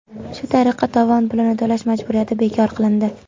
Shu tariqa, tovon pulini to‘lash majburiyati bekor qilindi.